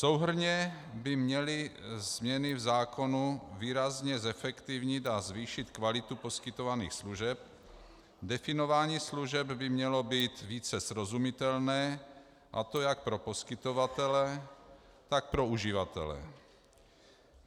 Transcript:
Souhrnně by měly změny v zákonu výrazně zefektivnit a zvýšit kvalitu poskytovaných služeb, definování služeb by mělo být více srozumitelné, a to jak pro poskytovatele, tak pro uživatele.